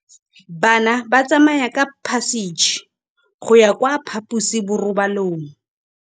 Bana ba tsamaya ka phašitshe go ya kwa phaposiborobalong.